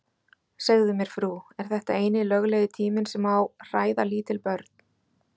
Segðu mér frú, er þetta eini löglegi tíminn sem má hræða lítil börn?